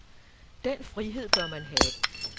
Den frihed bør man have.